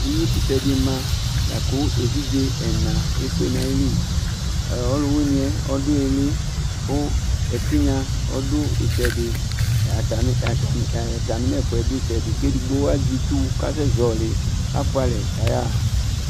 uwi kʋtɛ di ma laku evidze ena ɛfuɛ nayili ɔlʋwiniɛ ɔdʋ ili kʋ ɛtinya ɔdʋ itsɛdi atami atmi ɛ atami nɛ fuɛ duitsɛdi kʋ edigbo azɛ itsʋ kʋ asɛ zɔli kafulɛ ka ya